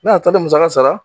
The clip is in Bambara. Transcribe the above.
Ne y'a taali musaka sara.